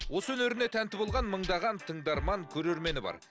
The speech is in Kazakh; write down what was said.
осы өнеріне тәнті болған мыңдаған тыңдарман көрермені бар